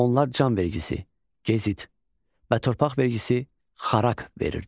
Onlar can vergisi, gezit və torpaq vergisi xaraq verirdilər.